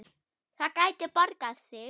Það gæti borgað sig.